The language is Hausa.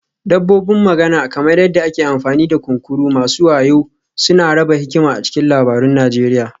Dabbobin magana, kamar yadda ake amfani da kunkuru masu wayo suna raba hikima a cikin labarun Najeriya